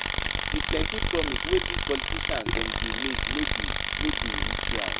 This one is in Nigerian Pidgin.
Di plenty promise wey dis politician dem dey make no dey no dey reach ground.